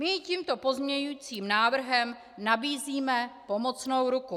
My jí tímto pozměňovacím návrhem nabízíme pomocnou ruku.